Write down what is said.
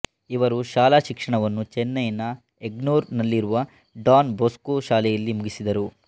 ಇವರು ಶಾಲಾಶಿಕ್ಷಣವನ್ನು ಚೆನ್ನೈನ ಎಗ್ಮೋರ್ ನಲ್ಲಿರುವ ಡಾನ್ ಬೋಸ್ಕೊ ಶಾಲೆಯಲ್ಲಿ ಮುಗಿಸಿದರು